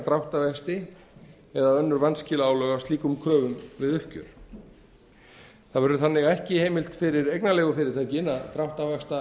dráttarvexti eða önnur vanskilaálög af slíkum kröfum við uppgjör það verður þannig að ekki er heimild fyrir eignarleigufyrirtækin að